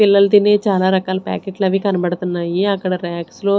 పిల్లలు తినే చానా రకాల ప్యాకెట్లవి కనబడతన్నాయి అక్కడ రాక్స్ లో --